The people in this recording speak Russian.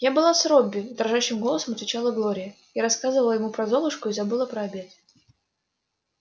я была с робби дрожащим голосом отвечала глория я рассказывала ему про золушку и забыла про обед